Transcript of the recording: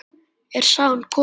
Er sagan komin?